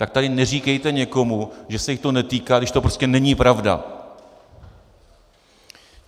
Tak tady neříkejte někomu, že se jich to netýká, když to prostě není pravda.